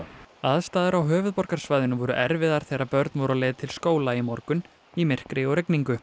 aðstæður á höfuðborgarsvæðinu voru erfiðar þegar börn voru á leið til skóla í morgun í myrkri og rigningu